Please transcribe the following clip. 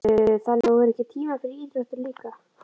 Sigríður: Þannig að þú hefur ekki tíma fyrir íþróttir líka?